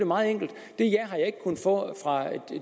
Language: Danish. meget enkelt det ja har jeg ikke kunnet få fra